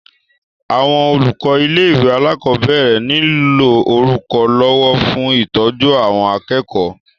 Àwọn olùkọ ilé ìwé alákọ̀berẹ̀ niló olùrànlọwọ fún ìtọ́jú àwọn akẹ́kọ̀ọ́.